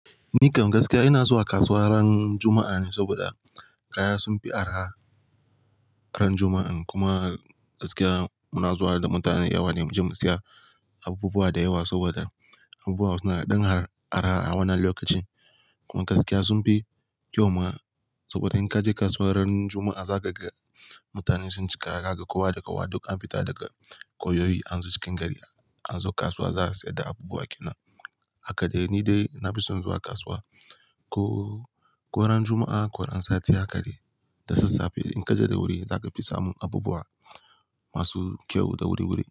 Ni kam gaskiya ina zuwa kasuwa ran Juma'a ne saboda kaya sun fi araha ran Juma'a. Kuma gaskiya muna zuwa da mutane da yawa ne mu je mu siya abubuwa da yawa saboda abubuwa suna ɗan har araha a wannan lokacin. Kuma gaskiya sun fi kyau ma saboda in ka je kasuwa ran Juma'a za ka ga mutane sun cika, zaka ga kowa da kowa duk an fita daga koyoyi an zo cikin gari, an zo kasuwa za'a siyar da abubuwa. Kenan haka dai ni dai na fi son zuwa kasuwa ko, ko ran Juma'a ko ran Sati haka dai. Da sassafe in ka je da wuri za ka fi samu abubuwa masu kyau da wuri-wuri.